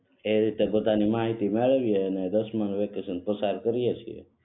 એ રીતે માહિતી મેળવીયે અને દસમા વેકેશન પસાર કરીયે